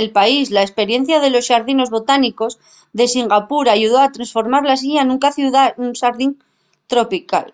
del país la esperiencia de los xardinos botánicos de singapur ayudó a tresformar la islla nuna ciudá xardín tropical